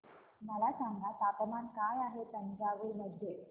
मला सांगा तापमान काय आहे तंजावूर मध्ये